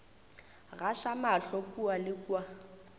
gaša mahlo kua le kua